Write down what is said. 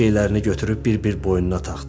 Zeynet şeylərini götürüb bir-bir boynuna taxdı.